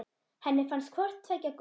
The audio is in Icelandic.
Henni fannst hvort tveggja gott.